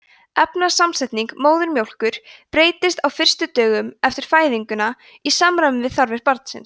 efnasamsetning móðurmjólkur breytist á fyrstu dögum eftir fæðinguna í samræmi við þarfir barnsins